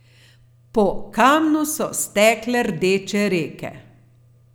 Po kamnu so stekle rdeče reke.